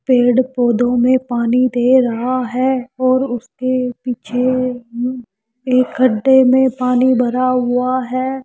पेड़ पौधों में पानी दे रहा है और उसके पीछे एक गड्ढे में पानी भरा हुआ है।